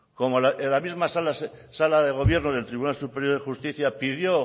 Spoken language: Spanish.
cómo en la misma sala de gobierno del tribunal superior de justicia pidió